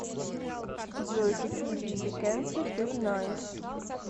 джой какие виды кэнсе ты знаешь